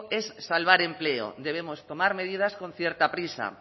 es salvar empleo debemos tomar medidas con cierta prisa